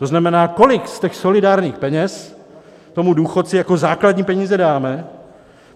To znamená, kolik z těch solidárních peněz tomu důchodci jako základní peníze dáme.